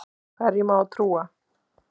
Hverjum á að trúa?